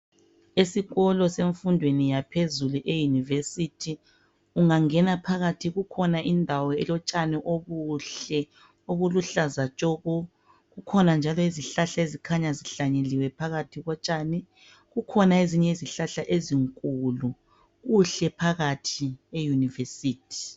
Esikolo semfundweni yaphezulu, eyunivesithi, ungangena phakathi kukhona indawo elotshani obuhle obuluhlaza tshoko. Kukhona njalo izihlahla ezikhanya zihlanyeliwe phakathi kotshani. Kukhona ezinye izihlahla ezinkulu. Kuhle phakathi eyunivesithi.